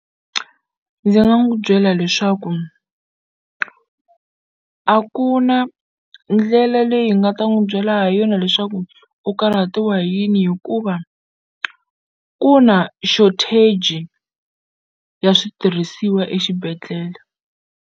ndzi nga n'wu byela leswaku a ku na ndlela leyi hi nga ta n'wu byela ha yona leswaku u karhatiwa hi yini hikuva ku na shortage ya switirhisiwa exibedhlele.